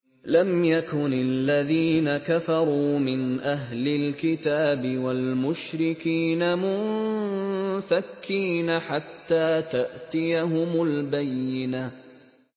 لَمْ يَكُنِ الَّذِينَ كَفَرُوا مِنْ أَهْلِ الْكِتَابِ وَالْمُشْرِكِينَ مُنفَكِّينَ حَتَّىٰ تَأْتِيَهُمُ الْبَيِّنَةُ